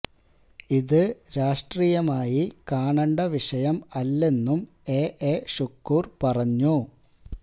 ഇത് രാഷ്ട്രിയമായി കാണണ്ട വിഷയം അല്ലെന്നും എ എ ഷുക്കൂർ പറഞ്ഞു